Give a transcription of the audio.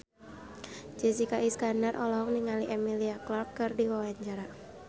Jessica Iskandar olohok ningali Emilia Clarke keur diwawancara